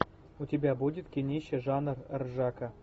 у тебя будет кинище жанр ржака